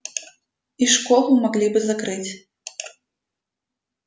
и школу могли бы закрыть